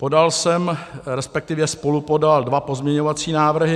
Podal jsem, respektive spolupodal, dva pozměňovací návrhy.